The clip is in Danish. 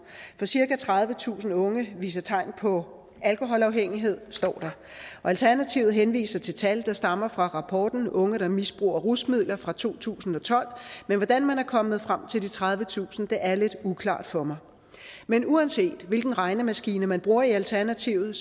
for cirka tredivetusind unge viser tegn på alkoholafhængighed står der og alternativet henviser til tal der stammer fra rapporten unge der misbruger rusmidler fra to tusind og tolv men hvordan man er kommet frem til de tredivetusind er lidt uklart for mig men uanset hvilken regnemaskine man bruger i alternativet